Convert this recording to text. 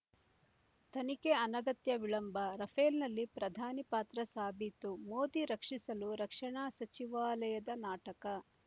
ತನಿಖೆ ಅನಗತ್ಯ ವಿಳಂಬ ರಫೇಲ್‌ನಲ್ಲಿ ಪ್ರಧಾನಿ ಪಾತ್ರ ಸಾಬೀತು ಮೋದಿ ರಕ್ಷಿಸಲು ರಕ್ಷಣಾ ಸಚಿವಾಲಯದ ನಾಟಕ